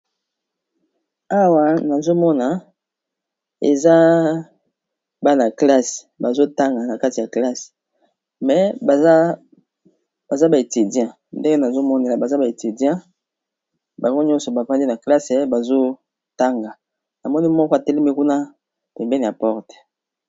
Awa nazomona eza bana klasse bazotanga na kati ya classe ,me baza baetidien ndenge nazomonela baza ba etidien bango nyonso bafandi na classe bazotanga na moni moko atelemi kuna tembene ya porte.